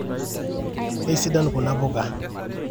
keisidain kuna puka